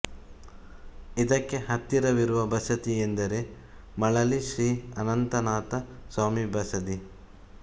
ಇದಕ್ಕೆ ಹತ್ತಿರವಿರುವ ಬಸದಿ ಎಂದರೆ ಮಳಲಿ ಶ್ರೀ ಅನಂತನಾಥ ಸ್ವಾಮಿ ಬಸದಿ